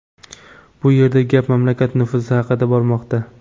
Bu yerda gap mamlakat nufuzi haqida bormoqda”.